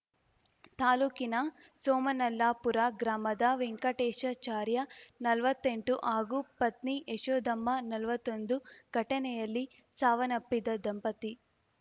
ತಾಲೂಕಿನ ಸೋಮನಲ್ಲಾಪುರ ಗ್ರಾಮದ ವೆಂಕಟೇಶಾಚಾರ್ಯ ನಲ್ವತ್ತೆಂಟು ಹಾಗೂ ಪತ್ನಿ ಯಶೋಧಮ್ಮ ನಲ್ವತ್ತೊಂದು ಘಟನೆಯಲ್ಲಿ ಸಾವನ್ನಪ್ಪಿದ ದಂಪತಿ